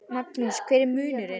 Magnús: Hver er munurinn?